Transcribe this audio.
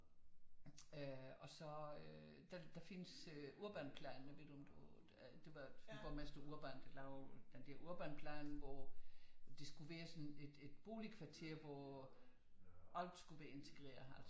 Og så øh der findes øh Urbanplan jeg ved ikke om du det var borgmester Urban der lavede den der Urbanplan hvor det skulle være sådan et boligkvarter hvor alt skulle være integreret